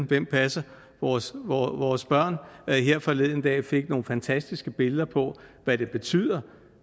hvem passer vores vores børn her forleden dag fik nogle fantastiske billeder på hvad det betyder